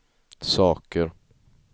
saker